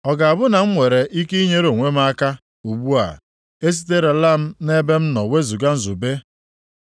Ọ ga-abụ na m nwere ike inyere onwe m aka, ugbu a, e siterela nʼebe m nọ wezuga nzube?